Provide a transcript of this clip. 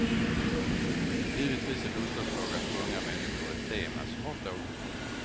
Givetvis är bostadsfrågan för unga människor ett tema som ofta återkommer.